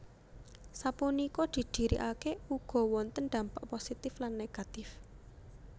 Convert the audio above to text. Sapunika didirikake ugo wonten dampak positif lan negativè